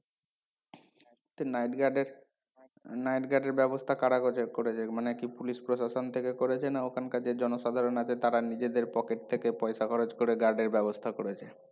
এই nightguard এর nightguard এর ব্যবস্থা কারা করছে করছে মানে কি পুলিশ প্রশাসন থেকে করেছে না ওখানকার যে জনসাধারণ আছে তারা নিজেদের pocket থেকে পয়সা খরচ করে guard এর ব্যবস্থা করেছে